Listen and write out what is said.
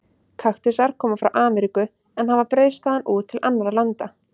Kaktusar koma frá Ameríku en hafa breiðst þaðan út til annarra landa.